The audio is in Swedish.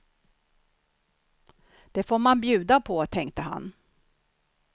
Det får man bjuda på, tänkte han.